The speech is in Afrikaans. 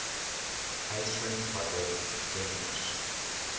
uitvind watter tenders